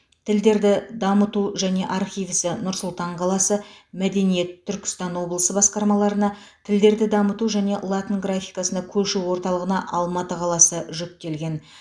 тілдерді дамыту және архив ісі нұр сұлтан қаласы мәдениет түркістан облысы басқармаларына тілдерді дамыту және латын графикасына көшу орталығына алматы қаласы жүктелген